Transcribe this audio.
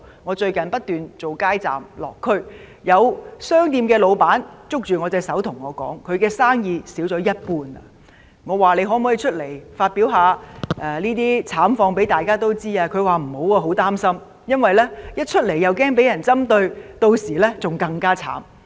我最近不斷做"街站"和"落區"的工作，有商店老闆捉住我的手對我說他的生意少了一半，我問他可否公開說出他的慘況，但他拒絕，因為他擔心會被針對，屆時便更慘。